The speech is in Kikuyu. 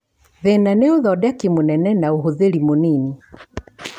Thina nĩ ũthodeki mũnene na ũhũthĩri mũnini